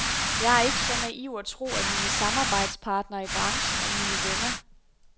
Jeg er ikke så naiv at tro, at mine samarbejdspartnere i branchen er mine venner.